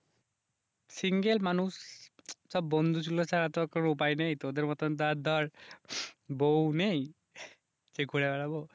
single মানুষ সব বন্ধু ছাড়া তো আর কোনো উপায় নেই তোদের মতন তো আর ধর বউ নেই যে ঘুরে বেড়াবো